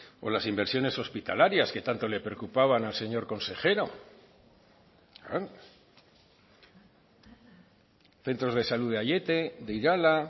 o las inversiones hospitalarias que tanto le preocupaban al señor consejero centros de salud de aiete de irala